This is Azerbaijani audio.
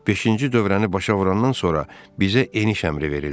Beşinci dövrəni başa vurandan sonra bizə eniş əmri verildi.